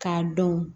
K'a dɔn